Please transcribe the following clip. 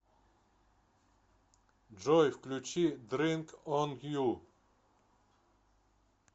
джой включи дрынк он ю